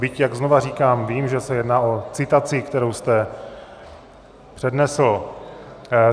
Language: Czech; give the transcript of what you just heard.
Byť, jak znova říkám, vím, že se jedná o citaci, kterou jste přednesl.